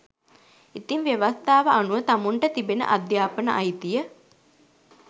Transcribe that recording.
ඉතිං ව්‍යවස්තාව අනුව තමුන්ට තිබෙන අධ්‍යාපනය අයිතිය